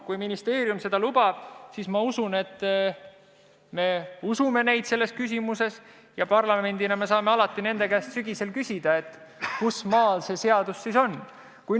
Kui ministeerium seda lubab, siis ma usun, et me usume neid selles küsimuses, ja parlamendina saame alati sügisel nende käest küsida, kui kaugel selle seadusega ollakse.